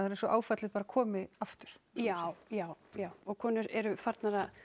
er eins og áfallið bara komi aftur já já já og konur eru farnar að